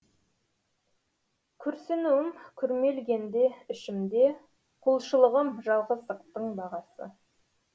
күрсінуім күрмелгенде ішімде құлшылығым жалғыздықтың бағасы